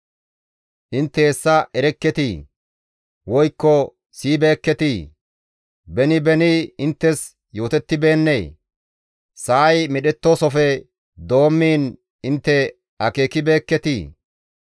Intte hessa erekketii? Woykko siyibeekketii? Beni beni inttes yootettibeennee? Sa7ay medhettoosofe doommiin intte akeekibeekketii?